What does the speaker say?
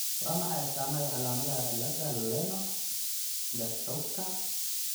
Waa maxay astaamaha iyo calaamadaha cillada Lennox Gastautka ?